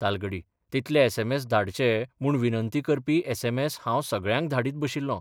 तालगडी तितले एसएमएस धाडचे म्हूण विनंती करपी एसएमएस हांव सगळ्यांक धाडीत बशिल्लों.